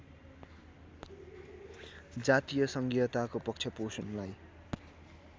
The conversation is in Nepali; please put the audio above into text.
जातीय सङ्घीयताको पक्षपोषणलाई